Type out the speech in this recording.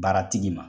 Baara tigi ma